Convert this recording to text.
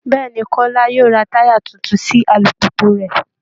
Bẹ́ẹ̀ ni, Kọ́lá yóò ra táyà tuntun sí alùpùpù rẹ̀